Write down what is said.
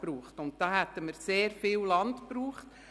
Dazu hätten wir sehr viel Land gebraucht.